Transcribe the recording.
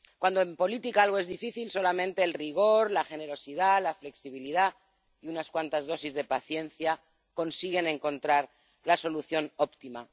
Cuando en política algo es difícil, solamente el rigor, la generosidad, la flexibilidad y unas cuantas dosis de paciencia consiguen encontrar la solución óptima.